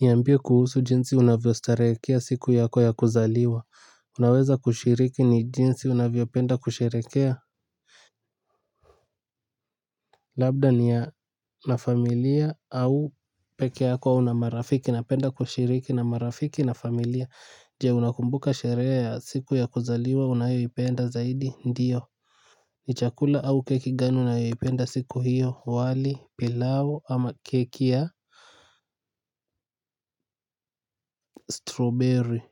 Niambie kuhusu jinsi unavyostarehekea siku yako ya kuzaliwa. Unaweza kushiriki ni jinsi unavyopenda kusheherekea? Labda ni ya na familia au peke yako au na marafiki. Napenda kushiriki na marafiki na familia. Je, unakumbuka sherehe ya siku ya kuzaliwa unayoipenda zaidi? Ndiyo. Ni chakula au keki gani unayoipenda siku hiyo? Wali, pilau ama keki ya Strawberry.